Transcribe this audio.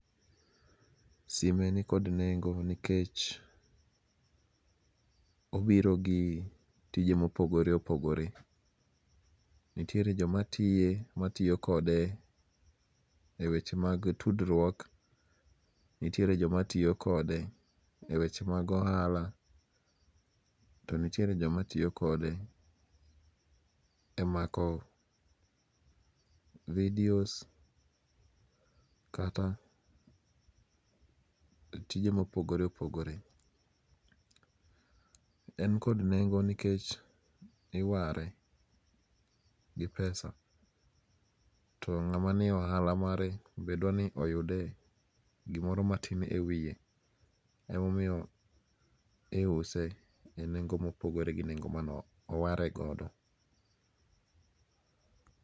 Sime ni kod nengo nikech obiro gi tije mopogore opogore. Nitiere jomatiye matiyo kode e weche mag tudruok, nitiere jomatiyokode e weche mag ohala, to nitiere joma tiyo kode e mako videos kata tije ma opogore opogore, en kod nengo' nikech iware gi pesa to nga'ma nie ohala mare be dwani oyude gimoro matin e wiye emomiyo iuse e nengo mopogore gi nengo mane owaregodo.